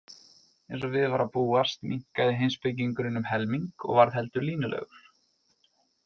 Eins og við var að búast minnkaði heimspekingurinn um helming og varð heldur línulegur.